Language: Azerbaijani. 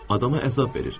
Adama əzab verir.